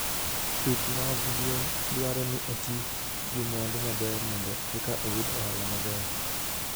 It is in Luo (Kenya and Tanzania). Pith mag gwen dwaro ni oti gi mwandu maber mondo eka oyud ohala maber.